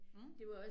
Mh